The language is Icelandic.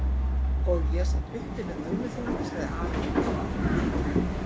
Og ég sat uppi með ömmu þína, sagði afi við Lóu-Lóu.